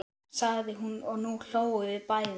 sagði hún og nú hlógum við bæði.